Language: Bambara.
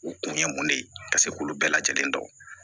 U kun ye mun de ye ka se k'olu bɛɛ lajɛlen dɔn